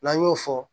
N'an y'o fɔ